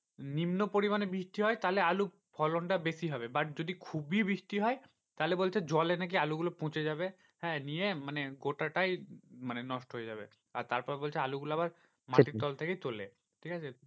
নিম্ন পরিমানে বৃষ্টি হয় তাহলে আলুর ফলন টা বেশি হবে। but যদি খুবই বৃষ্টি হয় তাহলে বলছে জলে নাকি আলুগুলো পচে যাবে। হ্যাঁ নিয়ে মানে গোটাটাই মানে নষ্ট হয়ে যাবে। আর তারপর বলছে আলুগুলো আবার মাটির তল থেকেই তোলে, ঠিকাছে